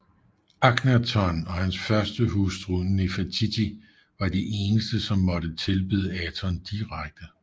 Akhnaton og hans førstehustru Nefertiti var de eneste som måtte tilbede Aton direkte